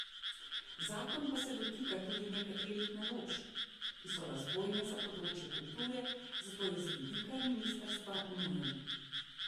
Zakon pa se dotika tudi nekaterih naložb, ki so razvojne za področje kulture, zato je z vidika ministrstva nujen.